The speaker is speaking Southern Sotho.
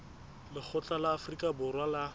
lekgotla la afrika borwa la